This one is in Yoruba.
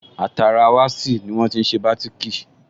Àtara wasi ní wọ́n tí n ṣe bátìkì